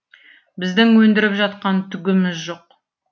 біздің өндіріп жатқан түгіміз жоқ